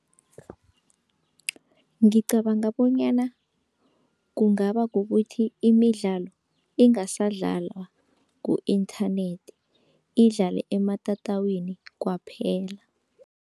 Ngicabanga bonyana kungaba kukuthi imidlalo ingasadlalwa ku-inthanethi, idlale ematatawini kwaphela.